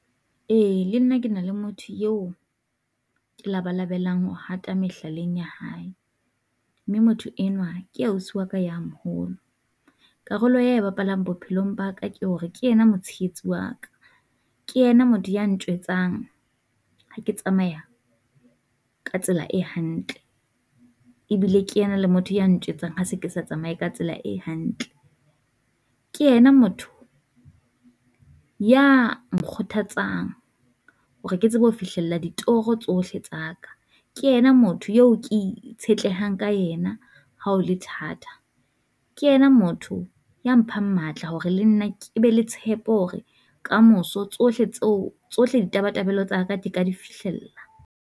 Ee le nna ke na le motho eo ke labalabelang ho hata mehlaleng ya hae, mme motho enwa ke ausi wa ka ya moholo. Karolo ya e bapalang bophelong ba ka ke hore ke ena motshehetsi wa ka, ke yena ya ntjwetsang ha ke tsamaya ka tsela e hantle, ebile ke ena le motho ya ntjwetsang ha se ke sa tsamaye ka tsela e hantle. Ke ena motho ya nkgothatsang hore ke tsebe ho fihlella ditoro tsohle tsa ka, ke yena motho eo ke itshetlehang ka ena ha ho le thata. Ke yena motho ya mphang matla hore le nna ke be le tshepo hore, kamoso tsohle tseo tsohle di tabatabelo tsa ka ke ka di fihlella.